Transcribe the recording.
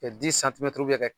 Kɛ kɛ